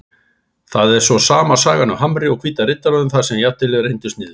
Það var svo sama sagan hjá Hamri og Hvíta Riddaranum þar sem jafntefli reyndist niðurstaðan.